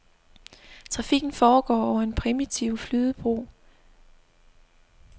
Trafikken foregår over en primitiv flydebro.